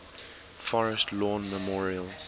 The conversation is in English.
forest lawn memorial